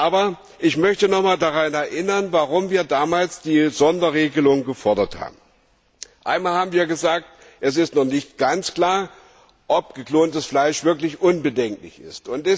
Aber ich möchte daran erinnern, warum wir damals die Sonderregulierung gefordert haben Zum einen haben wir gesagt, es ist nicht ganz klar, ob geklontes Fleisch wirklich unbedenklich ist.